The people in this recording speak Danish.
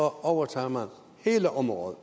overtager man hele området